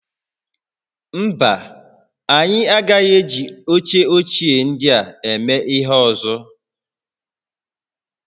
Mba, anyị agaghị eji oche ochie ndịa eme ihe ọzọ